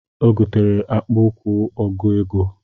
Ọ gotere akpụ ụkwụ ọgụ ego